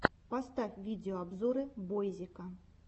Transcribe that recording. поставь видеообзоры бойзика